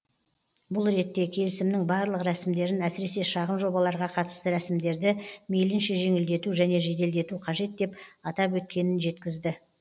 бұл ретте келісімнің барлық рәсімдерін әсіресе шағын жобаларға қатысты рәсімдерді мейлінше жеңілдету және жеделдету қажет деп атап өткенін жеткізді